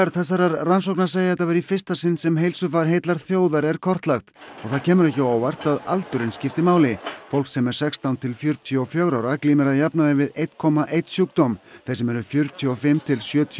þessarar rannsóknar segja þetta vera í fyrsta sinn sem heilsufar heillar þjóðar er kortlagt og það kemur ekki á óvart að aldurinn skiptir máli fólk sem er sextán til fjörutíu og fjögurra ára glímir að jafnaði við einn komma einn sjúkdóm þeir sem eru fjörutíu og fimm til sjötíu